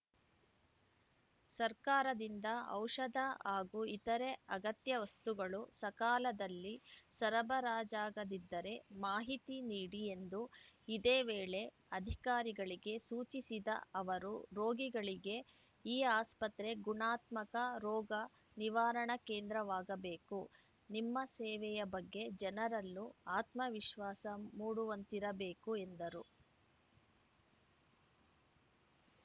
ಸರ್ಕಾರದಿಂದ ಔಷಧ ಹಾಗೂ ಇತರೆ ಅಗತ್ಯ ವಸ್ತುಗಳು ಸಕಾಲದಲ್ಲಿ ಸರಬರಾಜಾಗದಿದ್ದರೆ ಮಾಹಿತಿ ನೀಡಿ ಎಂದು ಇದೇ ವೇಳೆ ಅಧಿಕಾರಿಗಳಿಗೆ ಸೂಚಿಸಿದ ಅವರು ರೋಗಿಗಳಿಗೆ ಈ ಆಸ್ಪತ್ರೆ ಗುಣಾತ್ಮಕ ರೋಗ ನಿವಾರಣಾ ಕೇಂದ್ರವಾಗಬೇಕು ನಿಮ್ಮ ಸೇವೆಯ ಬಗ್ಗೆ ಜನರಲ್ಲೂ ಆತ್ಮವಿಶ್ವಾಸ ಮೂಡುವಂತಿರಬೇಕು ಎಂದರು